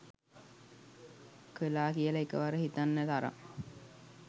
කළා කියලා එකවර හිතන්න තරම්